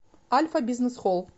альфа бизнес холл